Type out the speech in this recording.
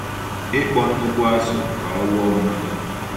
Ịkpọ nnukwu azụ ka ọ lụọ mmadụ?